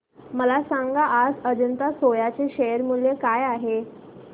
मला सांगा आज अजंता सोया चे शेअर मूल्य काय आहे